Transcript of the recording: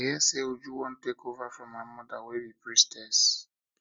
i hear i hear say uju wan take over from her mother wey be priestess